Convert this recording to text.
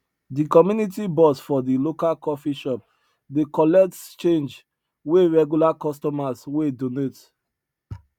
di community box for di local coffee shop dey collects change wey regular customers wey donate